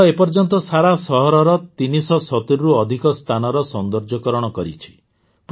ଏହି ଦଳ ଏ ପର୍ଯ୍ୟନ୍ତ ସାରା ସହରର ୩୭୦ରୁ ଅଧିକ ସ୍ଥାନର ସୌନ୍ଦର୍ଯ୍ୟକରଣ କରିଛି